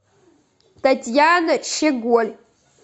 татьяна щеголь